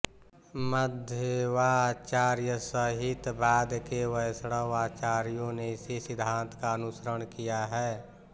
मध्वाचार्य सहित बाद के वैष्णव आचार्यों ने इसी सिद्धान्त का अनुसरण किया है